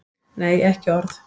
Nei, ekki orð.